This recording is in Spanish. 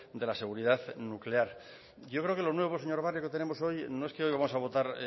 de la seguridad nuclear yo creo que lo nuevo señor barrio que tenemos hoy no es que hoy vamos a votar